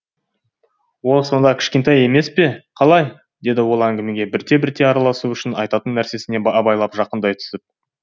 ол сонда кішкентай емес пе қалай деді ол әңгімеге бірте бірте араласу үшін айтатын нәрсесіне абайлап жақындай түсіп